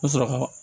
N bɛ sɔrɔ ka